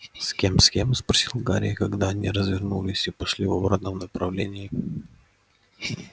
с кем с кем спросил гарри когда они развернулись и пошли в обратном направлении